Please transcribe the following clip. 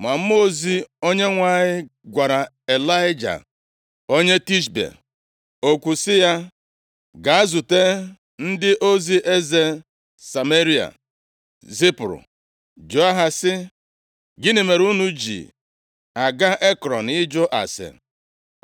Ma mmụọ ozi Onyenwe anyị gwara Ịlaịja onye Tishbe okwu sị ya, “Gaa zute ndị ozi eze Sameria zipụrụ, jụọ ha sị, ‘Gịnị mere unu ji aga Ekrọn ịjụ ase?